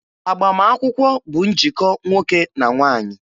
Agbamakwụkwọ bụ njikọ nwoke na nwaanyị.